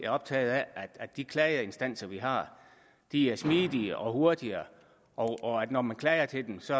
optaget af at de klageinstanser vi har er smidige og hurtige og at når man klager til dem skal